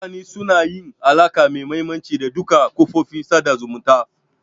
Mutane suna yin alaka mai mahimmanci da duka kafofin sada zumunta